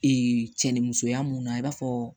cɛnimusoya mun na i b'a fɔ